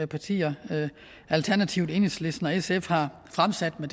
partier alternativet enhedslisten og sf har fremsat i